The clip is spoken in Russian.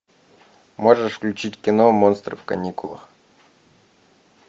можешь включить кино монстры в каникулах